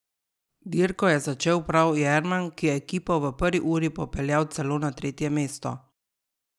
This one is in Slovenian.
Dirko je začel prav Jerman, ki je ekipo v prvi uri popeljal celo na tretje mesto.